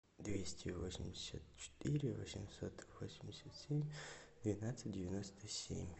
двести восемьдесят четыре восемьсот восемьдесят семь двенадцать девяносто семь